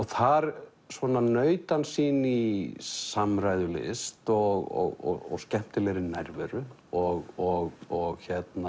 þar svona naut hann sín í samræðulist og skemmtilegri nærveru og og